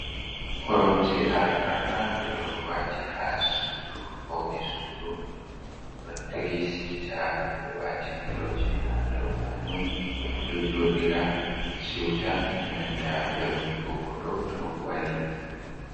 Korom je arfarma ɓeɗo wati ha sudu fauni sudu ɗon tri sita ɓeɗo wati piloji ha dau majum, ɓeɗo jodira siuta enanta vernugo koɗɗo to wari.